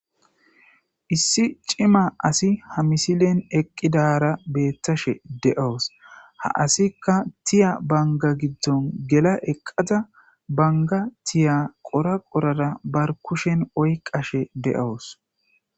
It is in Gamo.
Issi cima asi ha misilen eqqidara beettashe de'oos ha asikka tiya banga giddon gela eqqaza banga tiya qora qorara bar kushen oyqashe de'oos